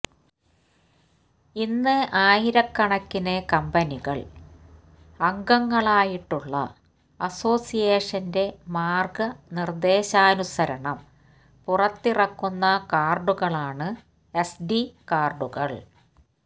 ഇന്ന് ആയിരക്കണക്കിന് കമ്പനികൾ അംഗങ്ങളായിട്ടുള്ള അസോസിയേഷന്റെ മാർഗ നിർദ്ദേശാനുസരണം പുറത്തിറക്കുന്ന കാർഡുകളാണ് എസ്ഡി കാർഡുകൾ